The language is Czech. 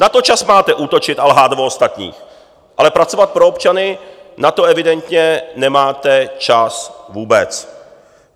Na to čas máte útočit a lhát o ostatních, ale pracovat pro občany, na to evidentně nemáte čas vůbec.